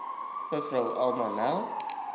mev alma nel